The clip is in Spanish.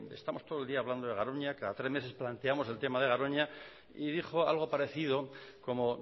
estamos todo el día hablando de garoña cada tres meses planteamos el tema de garoña y dijo algo parecido como